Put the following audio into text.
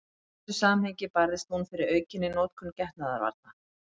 Í þessu samhengi barðist hún fyrir aukinni notkun getnaðarvarna.